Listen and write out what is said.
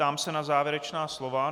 Ptám se na závěrečná slova.